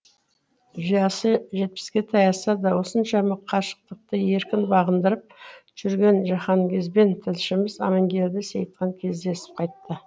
жасы жетпіске таяса да осыншама қашықтықты еркін бағындырып жүрген жиһанкезбен тілшіміз амангелді сейітхан кездесіп қайтты